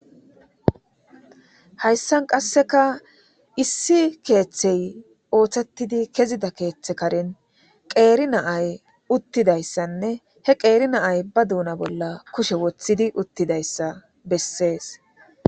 Hayssan qasseka issi keeththey ooththettidi kezida keeththe karin qeeri naay uttidayssanne he qeeri naay ba duuna bolla kushe woththidi uttidayssa bessees.